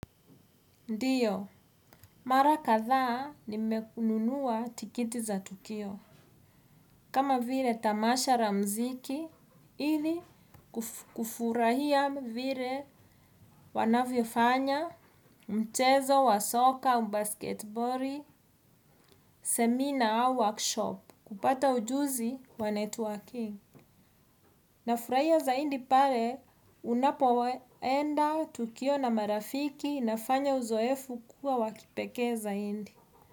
Ndiyo, mara kadhaa nimewahi kununua tiketi za tukio. Kama vile tamasha za muziki ili kufurahia vile wanavyofanya, michezo wa soka na mpira wa kikapu, semina au warsha ili kupata ujuzi na kufanya networking. Nafurahia zaidi pale unapoenda kwenye tukio na marafiki, na kufanya uzoefu kuwa wa kipekee zaidi.